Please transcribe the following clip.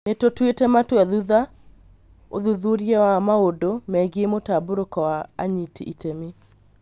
Nĩtũtuĩte matua thutha ũthuthuria wa maũndũ megie mũtambũrũko wa anyiti itemi.